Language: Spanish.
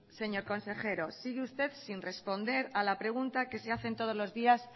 señor consejero sigue usted sin responder a la pregunta que se hacen todos los días